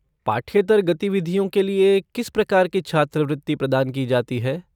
पाठ्येतर गतिविधियों के लिए किस प्रकार की छात्रवृत्ति प्रदान की जाती है?